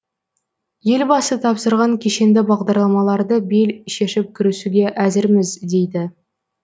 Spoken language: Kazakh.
елбасы тапсырған кешенді бағдарламаларды бел шешіп кірісуге әзірміз дейді